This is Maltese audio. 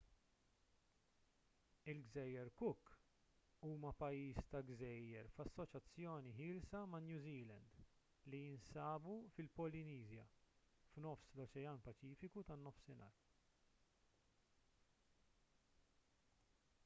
il-gżejjer cook huma pajjiż ta' gżejjer f'assoċjazzjoni ħielsa ma' new zealand li jinsabu fil-polineżja f'nofs l-oċean paċifiku tan-nofsinhar